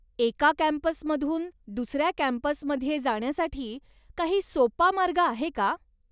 एका कॅम्पसमधून दुसऱ्या कॅम्पसमध्ये जाण्यासाठी काही सोपा मार्ग आहे का?